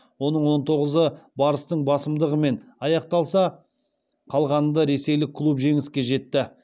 оның он тоғызы барыстың басымдығымен аяқталса қалғанында ресейлік клуб жеңіске жетті